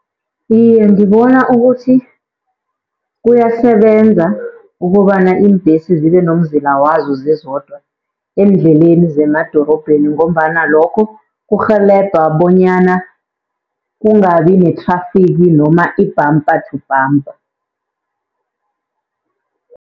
Iye, ngibona ukuthi kuyasebenza ukobana iimbhesi zibe nomzila wazo zizodwa eendleleni zemadorobheni, ngombana lokho kurhelebha bonyana kungabi nethrafigi noma i-bumper to bumper.